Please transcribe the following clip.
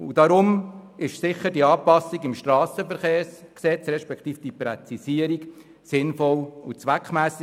Deshalb ist diese Anpassung respektive die Präzisierung im SG sinnvoll und zweckmässig.